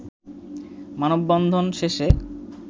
মানববন্ধন শেষে